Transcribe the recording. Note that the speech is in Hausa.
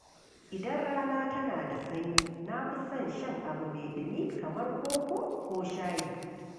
Idan rana tana da sanyi, na fi son shan abu mai ɗumi kamar koko ko shayi.